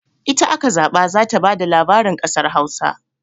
Ita aka zaɓa za ta ba da labarin kasar Hausa.